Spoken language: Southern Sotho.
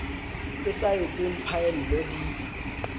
e sa etseng phaello di